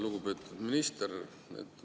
Lugupeetud minister!